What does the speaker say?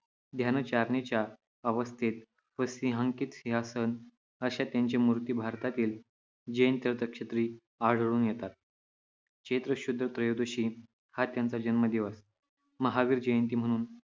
ध्यानधारणेच्या अवस्थेत व सिंहांकित चिन्हासह अशा त्यांच्या मूर्ती भारतातील जैन तीर्थक्षेत्री आढळून येतात. चैत्र शुद्ध त्रयोदशी हा त्यांचा जन्मदिवस महावीर जयंती म्हणून